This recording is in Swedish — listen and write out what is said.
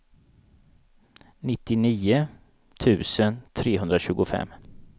nittionio tusen trehundratjugofem